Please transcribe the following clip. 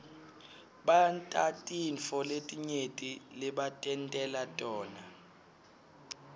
bantatintfo letinyenti lebatentela tona